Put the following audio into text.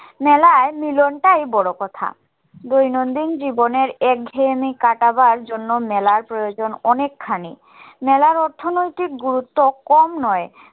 মেলায় মিলনটাই বড় কথা দৈনন্দিন জীবনের একঘেয়েমি কাটাবার জন্য মেলার প্রয়োজন অনেক খানি মেলার অর্থনৈতিক গুরুত্ব কম নয়